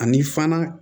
Ani fana